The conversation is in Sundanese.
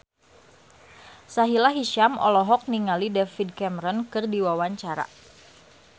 Sahila Hisyam olohok ningali David Cameron keur diwawancara